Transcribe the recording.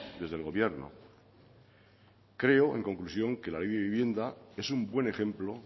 desde el gobierno creo en conclusión que la ley de vivienda es un buen ejemplo